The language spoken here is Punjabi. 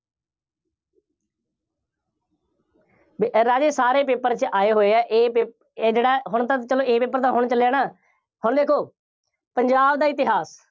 ਇਹ ਰਾਜੇ ਸਾਰੇ paper ਚ ਆਏ ਹੋਏ ਆ। A pap ਇਹ ਜਿਹੜਾ, ਹੁਣ ਤਾਂ ਚੱਲੋ A paper ਤਾਂ ਹੁਣ ਚੱਲਿਆ ਨਾ। ਹੁਣ ਦੇਖੋ ਪੰਜਾਬ ਦਾ ਇਤਿਹਾਸ।